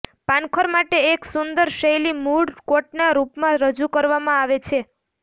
પાનખર માટે એક સુંદર શૈલી મૂળ કોટના રૂપમાં રજૂ કરવામાં આવે છે